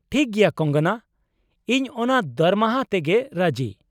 ᱴᱷᱤᱠ ᱜᱮᱭᱟ ᱠᱚᱝᱜᱚᱱᱟ, ᱤᱧ ᱚᱱᱟ ᱫᱟᱨᱢᱟᱦᱟ ᱛᱮᱜᱮ ᱨᱟᱹᱡᱤ ᱾